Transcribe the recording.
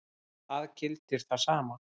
Það gildir það sama.